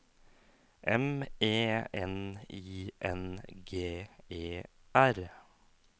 M E N I N G E R